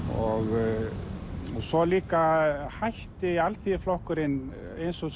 og svo líka hætti Alþýðuflokkurinn eins og